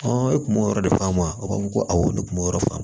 e kun b'o yɔrɔ de faamu a ko ko awɔ ne kun b'o yɔrɔ fa